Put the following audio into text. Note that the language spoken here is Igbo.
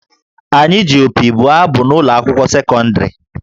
Anyị ji opi bụọ abụ n’ụlọ akwụkwọ sekọndịrị